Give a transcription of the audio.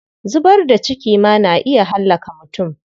Zubar da ciki ma na iya hallaka mutum.